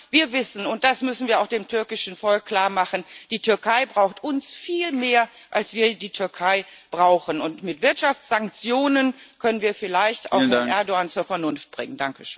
Aber wir wissen, und das müssen wir auch dem türkischen Volk klarmachen Die Türkei braucht uns viel mehr als wir die Türkei brauchen, und mit Wirtschaftssanktionen können wir vielleicht auch Herrn Erdoğan zur Vernunft bringen.